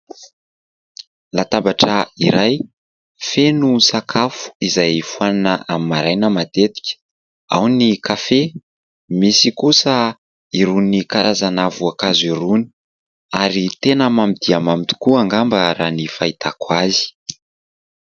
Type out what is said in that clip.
Latabatra iray feno sakafo izay fohanina amin'ny maraina matetika. Ao ny kafe ; misy kosa irony karazana voankazo irony ary tena mamy dia mamy tokoa angamba raha ny fahitako azy.